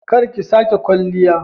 Kar ki sake kwalliya!